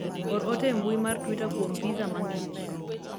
or ote e mbui mar twita kuom pizza mang'ich